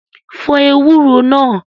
Fọ ewúro náà!